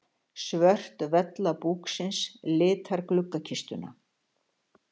Svört vella búksins litar gluggakistuna.